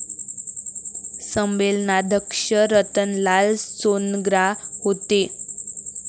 संमेलनाध्यक्ष रतनलाल सोनग्रा होते.